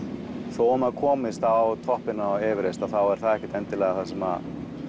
þótt maður komist á toppinn á Everest þá er það ekkert endilega sem